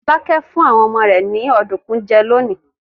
Fọlákẹ́ fún àwọn ọmọ rẹ̀ ní ọ̀dùnkún jẹ lónìí.